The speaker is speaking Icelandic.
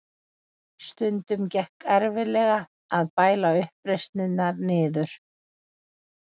Stundum gekk erfiðlega að bæla uppreisnirnar niður.